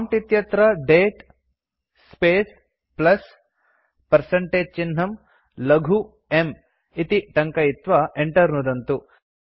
prompt इत्यत्र दते space plus percentage चिह्नं लघु m इति टङ्कयित्वा enter नुदन्तु